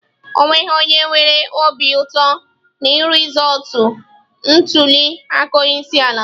O nweghị onye nwere obi ụtọ na rizọọtụ ntuli aka onye isi ala.